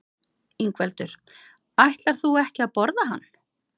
Ingveldur: Ætlar þú ekki að borða hann?